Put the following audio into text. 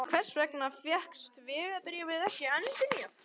En hvers vegna fékkst vegabréfið ekki endurnýjað?